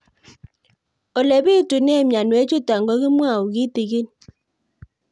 Ole pitune mionwek chutok ko kimwau kitig'ín